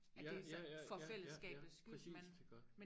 ja ja ja ja ja præcist iggå